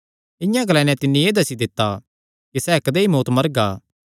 इआं ग्लाई नैं तिन्नी एह़ दस्सी दित्ता कि सैह़ कदेई मौत्त मरगा